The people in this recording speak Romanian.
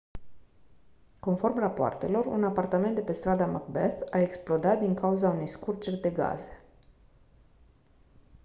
conform rapoartelor un apartament de pe strada macbeth a explodat din cauza unei scurgeri de gaze